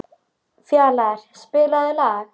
Fjalarr, spilaðu lag.